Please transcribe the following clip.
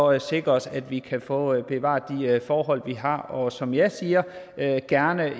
at sikre os at vi kan få bevaret de forhold vi har og som jeg siger gerne